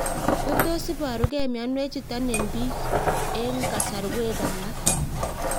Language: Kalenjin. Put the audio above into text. Kotos iparukei mionwek chutuk eng' pik eng' kasarwek alak